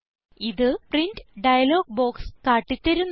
ഇത് print dialog box കാട്ടി തരുന്നു